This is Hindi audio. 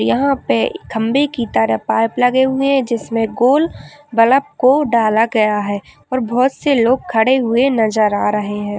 यहाँ पे खम्बे की तरह पाइप लगे हुये है जिसमे गोल बलप को डाला गया है और बहुत से लोग खड़े हुए नजर आ रहे हैं।